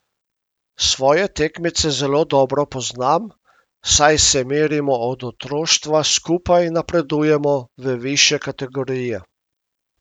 Svoje tekmece zelo dobro poznam, saj se merimo od otroštva, skupaj napredujemo v višje kategorije.